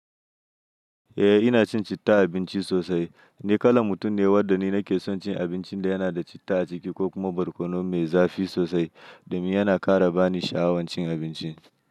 Eh ina cin citta abinci sosai. Ni kalan mutum ne wadda ni nake son cin abincin da yana da citta a ciki ko kuma barkono me zafi sosai domin yana ƙara bani sha'awar cin abinci.